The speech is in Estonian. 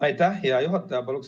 Aitäh, hea juhataja!